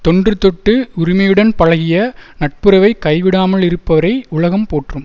தொன்றுதொட்டு உரிமையுடன் பழகிய நட்புறவைக் கைவிடாமல் இருப்பவரை உலகம் போற்றும்